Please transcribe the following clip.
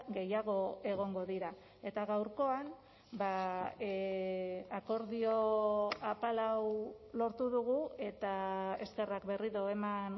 gehiago egongo dira eta gaurkoan akordio apal hau lortu dugu eta eskerrak berriro eman